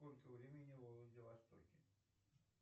сколько времени во владивостоке